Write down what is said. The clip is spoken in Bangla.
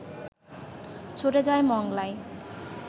ছুটে যায় মংলায়